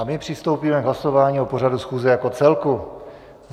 A my přistoupíme k hlasování o pořadu schůze jako celku.